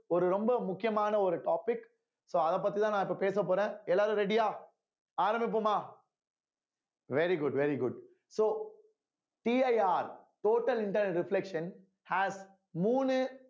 ஒரு ரொம்ப முக்கியமான ஒரு topic so அதப் பத்திதான் நான் இப்ப பேசப் போறேன் எல்லாரும் ready யா ஆரம்பிப்போமா very good very good soCIRtotal internal reflection has மூணு